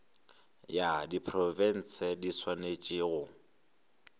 ya diprofense di swanetše go